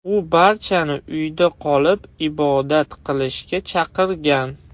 U barchani uyda qolib, ibodat qilishga chaqirgan.